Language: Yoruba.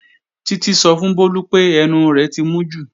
Títí sọ fún Bólú pé ẹnu rẹ̀ ti mú jù